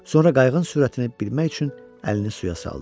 Sonra qayığın sürətini bilmək üçün əlini suya saldı.